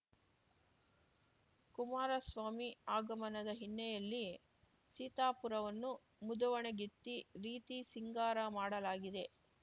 ಕುಮಾರಸ್ವಾಮಿ ಆಗಮನದ ಹಿನ್ನೆಲೆಯಲ್ಲಿ ಸೀತಾಪುರವನ್ನು ಮುದುವಣಗಿತ್ತಿ ರೀತಿ ಸಿಂಗಾರ ಮಾಡಲಾಗಿದೆ